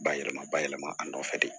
Bayɛlɛma bayɛlɛma a nɔfɛ de